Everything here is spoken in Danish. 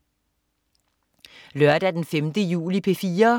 Lørdag den 5. juli - P4: